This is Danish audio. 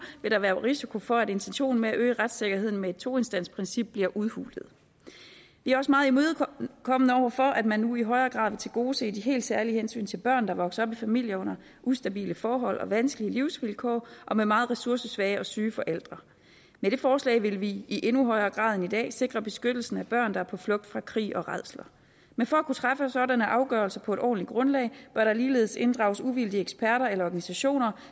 vil der være risiko for at intentionen med at øge retssikkerheden med et toinstansprincip bliver udhulet vi er også meget imødekommende over for at man nu i højere grad vil tilgodese de helt særlige hensyn til børn der vokser op i familier under ustabile forhold og vanskelige livsvilkår og med meget ressourcesvage og syge forældre med det forslag vil vi i endnu højere grad end i dag sikre beskyttelsen af børn der er på flugt fra krig og rædsler men for at kunne træffe sådanne afgørelser på et ordentligt grundlag bør der ligeledes inddrages uvildige eksperter eller organisationer